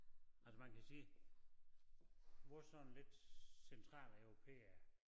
Altså man kan sige hvor sådan lidt centraleuropæere